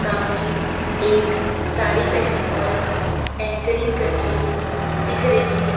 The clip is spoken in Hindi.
सामने एक साड़ी पहने औरत एंकरिंग करती हुई दिख रही है।